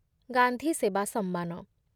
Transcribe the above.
ଗାନ୍ଧୀ ସେବା ସମ୍ମାନ